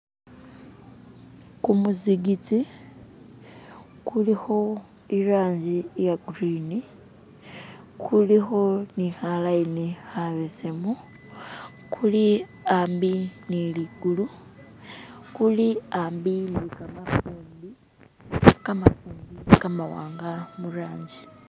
kumuzikiti kuliho irangi iyagurini kuliho nihalayini habesemu kuli ambi niligulu kuli ambi nikamafumbi kamafumbi kamawanga muranji